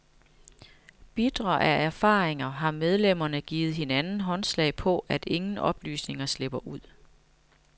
Bitre af erfaringer har medlemmerne givet hinanden håndslag på, at ingen oplysninger slipper ud.